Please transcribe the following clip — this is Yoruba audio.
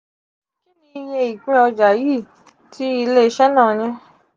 kini iye ipin oja yi ti ile ise na ni?